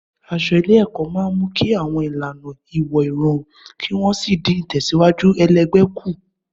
Aṣọ ilé-ẹ̀kọ́ máa ń mú kí àwọn ìlànà ìwọ̀ rọrùn kí wọ́n sì dín ìtẹ̀síwájú ẹlẹgbẹ́ kù.